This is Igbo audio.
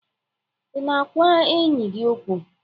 Ị na-agwa enyi gị okwu?